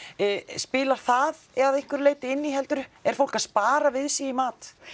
spilar það að einhverju leyti inn í heldurðu er fólk að spara við sig í mat